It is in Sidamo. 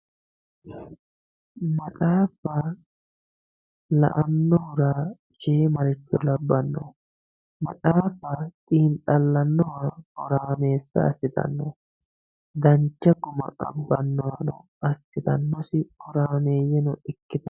maxaaffa la"annohura shiimaricho labbanno maxaaffa xiinxallanno horaameessa assitanno dancha guma abbannohano assitannosi horaameeyyeno ikkinanni.